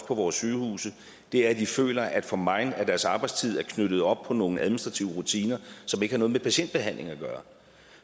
på vores sygehuse er at de føler at for meget af deres arbejdstid er knyttet op på nogle administrative rutiner som ikke har noget med patientbehandling at gøre